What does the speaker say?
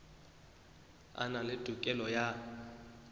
a na le tokelo ya